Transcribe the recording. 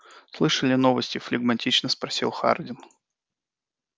слышали новости флегматично спросил хардин